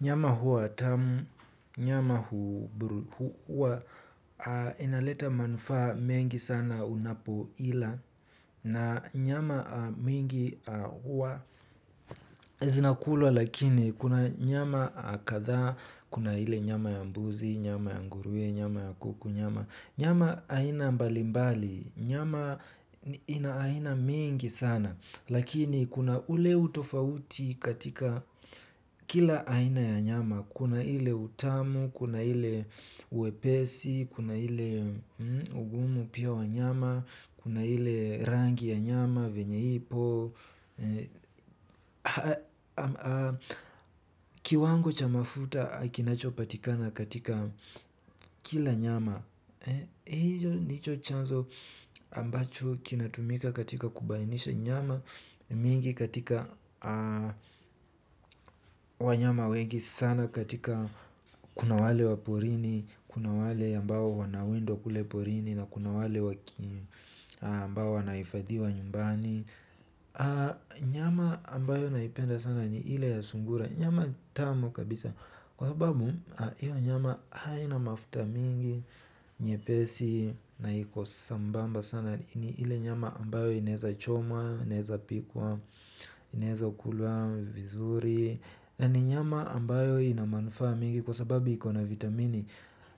Nyama hua tamu, nyama hua inaleta manufaa mengi sana unapo ila na nyama mingi hua zinakulwa lakini, kuna nyama akathaa, kuna ile nyama ya mbuzi, nyama ya ngurue, nyama ya kuku, nyama aina, mbalimbali, nyama inaaina mingi sana. Lakini, kuna ule utofauti katika kila aina ya nyama, kuna ile utamu, kuna ile uwepesi, kuna ile ugumu pia wa nyama, kuna ile rangi ya nyama, venyeipo, kiwango chamafuta, kinachopatikana katika kila nyama. Hijo ndicho chanzo ambacho kinatumika katika kubainisha nyama, nyinji katika, wanyama wengi sana katika kuna wale waporini. Kuna wale ambao wana wendwa kuleporini na kuna wale ambao wanahifadhiwa nyumbani, nyama, ambayo naipenda sana ni ile ya sungura. Nyama tamu kabisa. Kwa sababu, hiyo nyama haina mafuta mingi, nyepesi na iko sambamba sana. Ni ile nyama ambayo inaeza chomwa, ineza pikwa, inaezwa kulwa vizuri. Ni nyama ambayo inamanufaa mingi kwa sababu iko na vitamini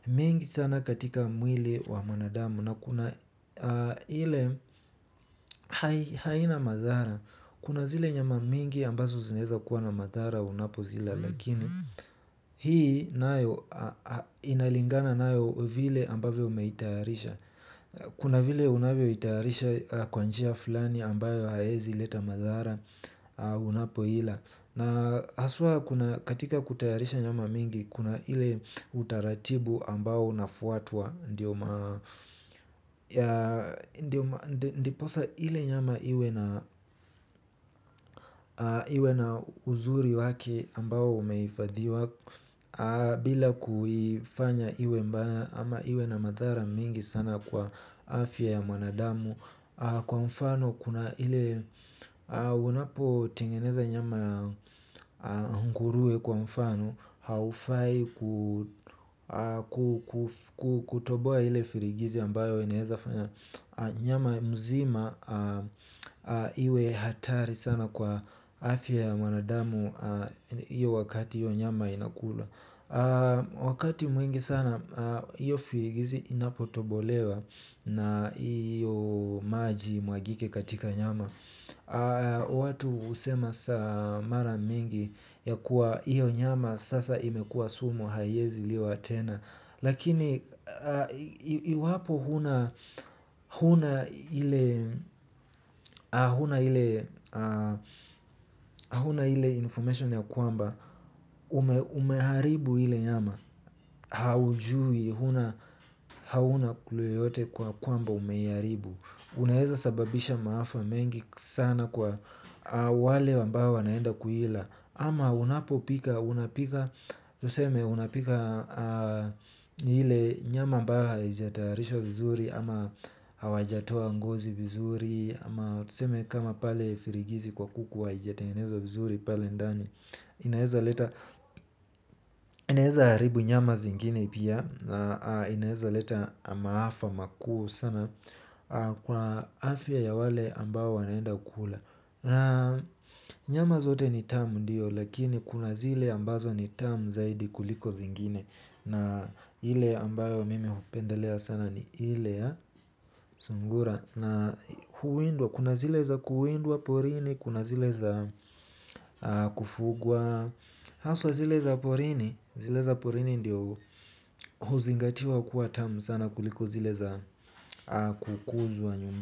mingi sana katika mwili wa mwanadamu. Na kuna ile haina mathara. Kuna zile nyama mingi ambazo zinezakuwa na mathara unapozila. Lakini, hii nayo, inalingana nayo vile ambavyo umeitayarisha. Kuna vile unavyo itayarisha kwanjia fulani ambayo haezi leta mathara. Unapoila. Na, haswa kuna katika kutayarisha nyama mingi, kuna ile utaratibu, ambao, unafuatwa ndio maa ndiposa ile nyama iwe na iwe na uzuri wake ambao umehifadhiwa. Bila kuifanya iwe mbaya ama iwe na madhara mingi sana kwa afya ya mwanadamu. Kwa mfano, kuna ile unapo tengeneza nyama nkuruwe kwa mfano, haufai kutoboa ile firigizi ambayo, inaeza fanya nyama mzima, iwe hatari sana kwa afya ya mwanadamu iyo wakati iyo nyama inakula. Wakati mwingi sana, iyo firigizi inapotobolewa na iyo maji imwagike katika nyama. Watu husema saa, mara mingi ya kuwa, hiyo nyama sasa imekua sumo, haiezi liwa tena. Lakini iwapo huna huna ile mnaile information ya kwamba, umeharibu ile nyama. Haujui huna hauna kluu yeyote kwa kwamba, umeiharibu. Unaeza sababisha maafa mengi sana kwa wale ambao wanaenda kuila. Ama unapopika, unapika, tuseme unapika ile nyama ambayo haijayatarishwa vizuri, ama hawajatoa ngozi vizuri, ama tuseme kama pale firigizi kwa kuku, haijatengezwa vizuri pale ndani, inaeza leta haribu nyama zingine pia. Inaeza leta maafa makuu sana. Kwa afya ya wale ambao wanaenda kula. Nyama zote ni tam ndiyo, lakini kuna zile ambazo ni tam zaidi kuliko zingine. Na ile ambayo mimi hupendelea sana ni ile ya, sungura. Na huwindwa, kuna zile za kuwindwa porini, kuna zile za kufugwa haswa zile za porini, zile za porini ndio huzingatiwa kuwa tamu sana kuliko zile za, kukuzwa nyumba.